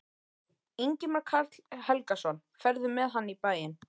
Ingimar Karl Helgason: Ferðu með hann í bæinn?